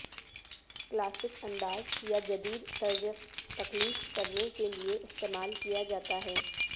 classic انداز یا جدید طرز تخلیق کرنے کے لئے استعمال کیا جاتا ہے